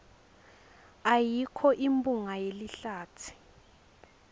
ayikho imphunga yelihlatsi